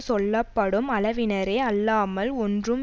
சொல்ல படும் அளவினரே அல்லாமல் ஒன்றும்